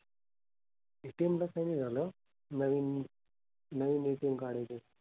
ATM ला काही नाही झालं. नवीन नवीन ATM काढायचंय.